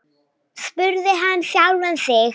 spurði hann sjálfan sig.